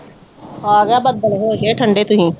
ਆਗਿਆ ਬੱਦਲ ਹੋਗੇ ਠੰਡੇ ਤੁਸੀਂ